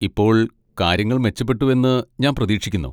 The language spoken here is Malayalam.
ഇപ്പോൾ കാര്യങ്ങൾ മെച്ചപ്പെട്ടുവെന്ന് ഞാൻ പ്രതീക്ഷിക്കുന്നു?